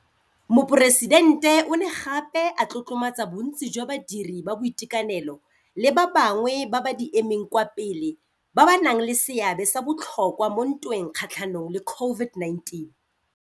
Moporesidente o ne gape a tlotlomatsa bontsi jwa badiri ba boitekanelo le ba bangwe ba ba di emeng kwa pele ba ba nang le seabe sa botlhokwa mo ntweng kgatlhanong le COVID-19.